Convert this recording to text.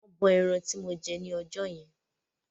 Wọ́n bọ ẹran tí mo jẹ ni ọjọ́ yẹn.